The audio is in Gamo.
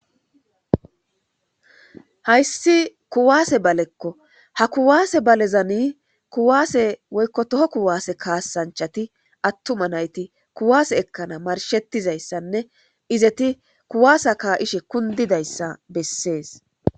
hayssi kuwaase balekko ha kuwaase balezani kuwaase woykko toho kuwaase kaasanchati attuma nayti kuwaase ekkana marshettizayssanne izeti kuwaasa ka ishe kundidayssa bessees